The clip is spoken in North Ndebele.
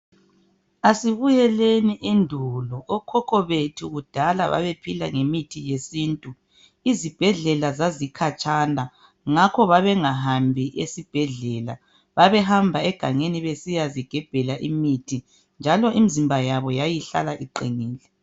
Asibuyeleni endulo. Okhokho bethu kudala babephila ngemithi yesintu. Izibhedlela zazikhatshana ngakho babengahambi esibhedlela. Babehamba egangeni besiyazigebhela imithi njalo imzimba yabo yayihlala iqinile.